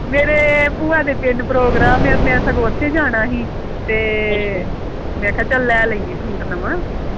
ਮੇਰੇ ਭੂਆ ਦੇ ਪਿੰਡ program ਏ ਮੈਂ ਸਗੋਂ ਓਥੇ ਜਾਣਾ ਸੀ ਤੇ ਮੈਂ ਕਿਹਾ ਲੈ ਲੇਨੀ ਆ ਸੂਟ ਨਵਾਂ